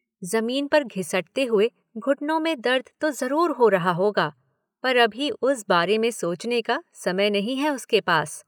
जमीन पर घिसटते हुए घुटनों में दर्द तो जरूर हो रहा होगा पर अभी उस बारे में सोचने का समय नहीं है उसके पास।